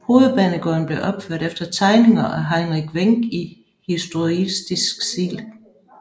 Hovedbanegården blev opført efter tegninger af Heinrich Wenck i historicistisk stil